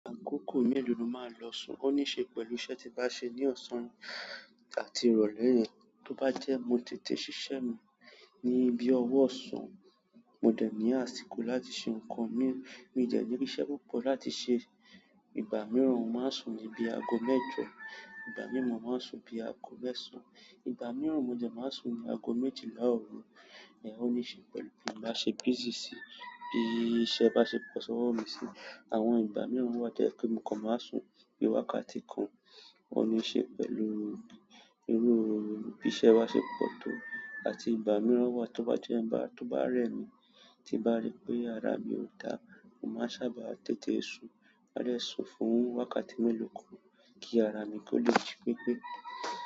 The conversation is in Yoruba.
Àkókò melo ni o máa ń lọ sùn? O níí ṣe pẹ̀lú iṣẹ́ ti n bá ṣe ní ọ̀sán àti ìrọ̀lẹ́ yẹn. To bá jẹ́ mo tètè ṣiṣẹ́ mi ni bí owó ọ̀sán, mo dé ní àsìkò láti ṣe ǹkan míì, mi ò dẹ̀ ní iṣẹ́ púpọ̀ láti ṣe, ìgbà míràn mo máa ń sùn bí ago mẹ́jọ. Ìgbà mìíràn mo máa ń sùn bíi aago mẹ́sàn-án. Ìgbà mìíràn mo dẹ̀ máa ń sùn ní aago méjìlá ọ̀ru. Ó níí ṣe pẹ̀lú ń bá ṣe busy bí i iṣẹ́ bá ṣe pọ̀ sọ́wọ́ mi sí. Àwọn ìgbà mìíràn wà tó jẹ̀ pé mo kan máa ń sùn bíi wákàtí kan. Ó níí ṣe pẹ̀lú irú bí iṣẹ́ wa ṣe pọ̀ tó àti ìgbà mìíràn wà tóbá jẹ́ ń bá, tóbá rẹ̀ mí tí n bá rí pé ara mi ò dá, mo máa sábà tètè sùn. Máa dè sùn fún wákàtí mélòó kan kí ara mi kó lè jí pepé.